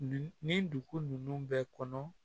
N ni dugu ninnu bɛɛ kɔnɔ